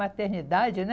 Maternidade, né?